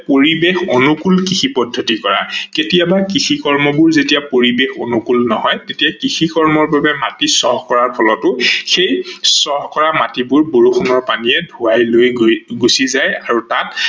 পৰিবেশ অনুকূল কৃষি পদ্ধতি কৰা, কেতিয়াবা কৃষি কৰ্মবোৰ যেতিয়া পৰিবেশ অনুকূল নহয় তেতিয়া কৃষি কৰ্মৰ বাবে মাটি চহ কৰাৰ ফলতো সেই চহ কৰা মাটিবোৰ বৰষুনৰ পানীয়ে ধোৱাই লৈ গুচি যায় আৰু তাত